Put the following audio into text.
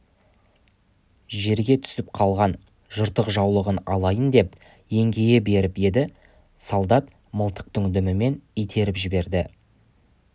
жерге түсіп қалған жыртық жаулығын алайын деп еңкейе беріп еді солдат мылтықтың дүмімен итеріп жіберді